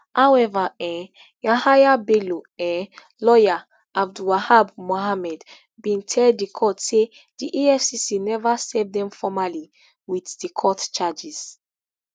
however um yahaya bello um lawyer abdulwahab mohammed bin tell di court say di efcc never serve dem formally wit di court charges